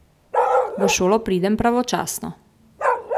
V šolo pridem pravočasno.